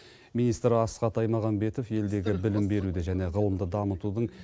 министр асхат аймағамбетов елдегі білім беруді және ғылымды дамытудың